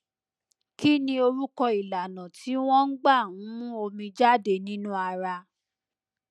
kí ni orúkọ ìlànà tí wọn gbà ń mú omi jáde nínú ara